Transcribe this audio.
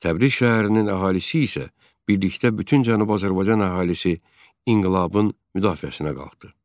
Təbriz şəhərinin əhalisi isə birlikdə bütün Cənubi Azərbaycan əhalisi inqilabın müdafiəsinə qalxdı.